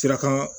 Sira kan